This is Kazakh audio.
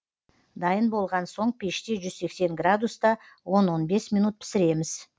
дайын болған соң пеште жүз сексен градуста он он бес минут пісіреміз